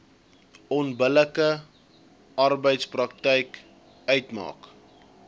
onbillike arbeidspraktyk uitmaak